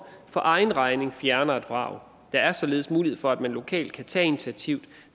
for egen regning fjerner et vrag der er således mulighed for at man lokalt kan tage initiativ